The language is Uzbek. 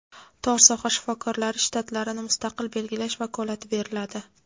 tor soha shifokorlari shtatlarini mustaqil belgilash vakolati beriladi.